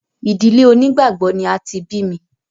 Ìdílé onígbàgbọ́ ni a ti bí mi